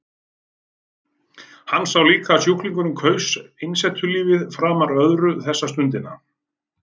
Hann sá líka að sjúklingurinn kaus einsetulífið framar öðru þessa stundina.